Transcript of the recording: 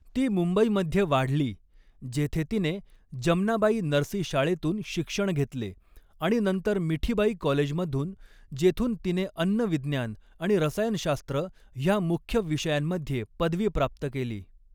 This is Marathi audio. ती मुंबईमध्ये वाढली, जेथे तिने, जमनाबाई नरसी शाळेतून शिक्षण घेतले आणि नंतर मिठीबाई कॉलेजमधून, जेथून तिने अन्न विज्ञान आणि रसायनशास्त्र ह्या मुख्य विषयांमध्ये पदवी प्राप्त केली.